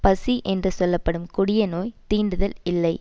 பசி என்று சொல்ல படும் கொடிய நோய் தீண்டுதல் இல்லை